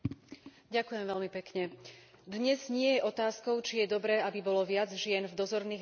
Dnes nie je otázkou, či je dobré, aby bolo viac žien v dozorných radách firiem kótovaných na burze.